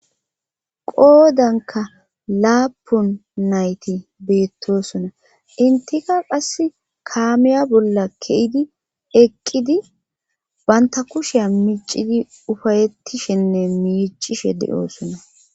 qoodanka laapun nayti beettosona intika qass kaamiya bolla ke7idi eqqidi banta kusheya miicidi ufayettishenne miicishe de7oosona